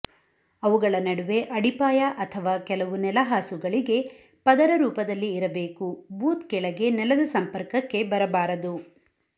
ಅವುಗಳ ನಡುವೆ ಅಡಿಪಾಯ ಅಥವಾ ಕೆಲವು ನೆಲಹಾಸುಗಳಿಗೆ ಪದರ ರೂಪದಲ್ಲಿ ಇರಬೇಕು ಬೂತ್ ಕೆಳಗೆ ನೆಲದ ಸಂಪರ್ಕಕ್ಕೆ ಬರಬಾರದು